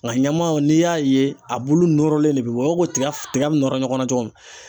Nka ɲamanw n'i y'a ye a bulu nɔrɔlen de bɛ bɔ i b'a fɔ ko tiga tiga bɛ nɔrɔ ɲɔgɔnna cogo min.